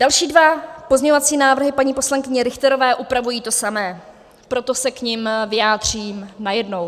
Další dva pozměňovací návrhy paní poslankyně Richterové upravují to samé, proto se k nim vyjádřím najednou.